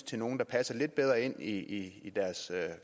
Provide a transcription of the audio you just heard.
til nogle der passer lidt bedre ind i deres hvad